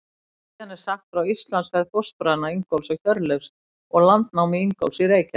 Síðan er sagt frá Íslandsferð fóstbræðranna Ingólfs og Hjörleifs og landnámi Ingólfs í Reykjavík.